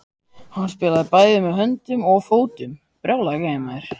Hann spilaði bæði með höndum og fótum.